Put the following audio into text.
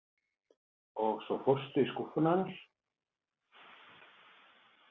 Og svo fórstu í skúffuna hennar?